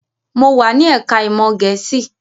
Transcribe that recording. Mo wà ní ẹ̀ká ìmọ̀ Gẹ̀ẹ́sì